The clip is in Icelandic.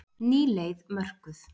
Ný leið mörkuð